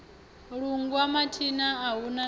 lungwa mathina a hu na